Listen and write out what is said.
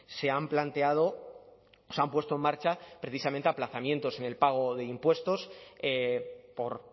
se han planteado se han puesto en marcha precisamente aplazamientos en el pago de impuestos por